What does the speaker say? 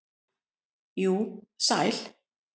jú, sæl.